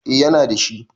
Eh yana da shi